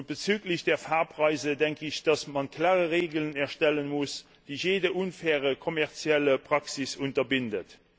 Bezüglich der Fahrpreise denke ich, dass man klare Regeln erstellen muss, die jede unfaire kommerzielle Praxis unterbinden.